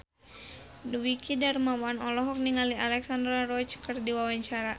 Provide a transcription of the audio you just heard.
Dwiki Darmawan olohok ningali Alexandra Roach keur diwawancara